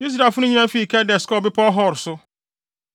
Israelfo no nyinaa fii Kades kɔɔ Bepɔw Hor so.